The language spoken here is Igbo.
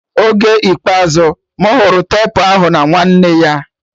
Oge ikpeazụ mụ hụrụ tepu ahụ bụ nwanne nyaa